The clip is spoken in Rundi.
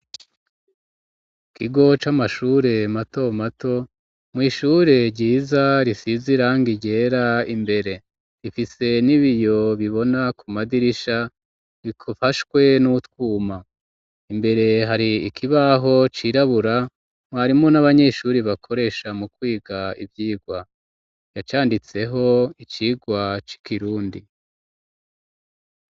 Ikigo c'amashure mato mato mw'ishure ryiza risize irangi ryera imbere rifise n'ibiyo bibona ku madirisha bifashwe n'utwuma imbere hari ikibaho cirabura mwarimu n'abanyeshuri bakoresha mu kwiga ivyirwa canditseho icirwa c'ikirundi.